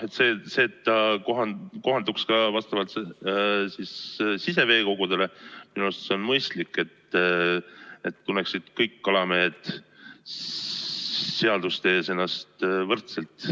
See, et ta kohalduks ka vastavalt siseveekogudele, on minu arvates mõistlik, et kõik kalamehed tunneksid end seaduste ees võrdselt.